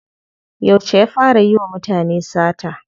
Yauce ya fara yiwa mutane sata?